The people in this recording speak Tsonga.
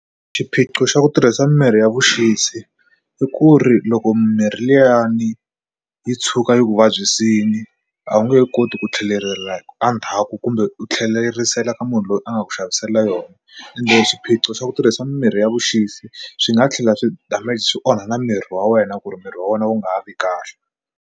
Xiphiqo xa ku tirhisa mirhi ya vuxisi i ku ri loko mimirhi liyani yi tshuka yi ku vabyisile a wu nge yi koti ku tlhelela endzhaku kumbe ku tlhelerisela ka munhu loyi a nga ku xavisela yona ende swiphiqo swa ku tirhisa mimirhi ya vuxisi swi nga tlhela swi swi onha na miri wa wena ku ri miri wa wena wu nga ha vi kahle.